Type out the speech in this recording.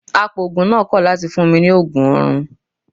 Apoògùn náà kọ̀ láti fún mi ní Ògùn orun.